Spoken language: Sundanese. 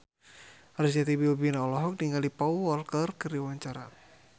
Arzetti Bilbina olohok ningali Paul Walker keur diwawancara